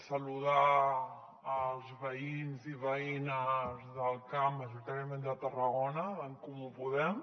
saludar els veïns i veïnes del camp majoritàriament de tarragona d’en comú podem